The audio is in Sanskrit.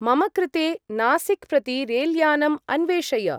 मम कृते नासिक् प्रति रेल्यानम् अन्वेषय।